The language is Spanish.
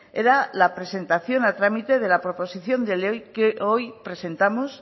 era la presentación a trámite de la proposición de ley que hoy presentamos